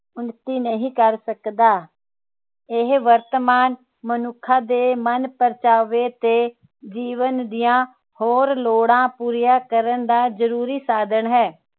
ਉੱਨਤੀ ਨਹੀਂ ਕਰ ਸਕਦਾ ਇਹ ਵਰਤਮਾਨ ਮਨੁੱਖਾਂ ਦੇ ਮਨਪਰਚਾਵੇ ਤੇ ਜੀਵਨ ਦੀਆਂ ਹੋਰ ਲੋੜਾਂ ਪੂਰੀਆਂ ਕਰਨ ਦਾ ਜਰੂਰੀ ਸਾਧਣ ਹੈ